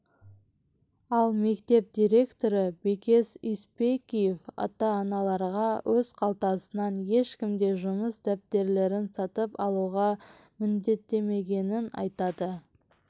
ал мектеп директоры бекес іспекеев ата-аналарға өз қалтасынан ешкім де жұмыс дәптерлерін сатып алуға міндеттемегенін айтады